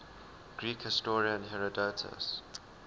greek historian herodotus